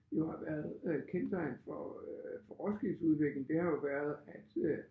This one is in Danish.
Jo har været øh kendetegn for øh for Roskildes udvikling det har jo været at øh